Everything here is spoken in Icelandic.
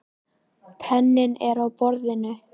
Penninn er á borðinu.